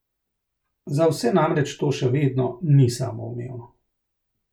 Za vse namreč to še vedno ni samoumevno.